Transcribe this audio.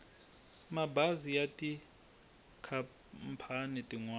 mabazi ya tikhampani tin wana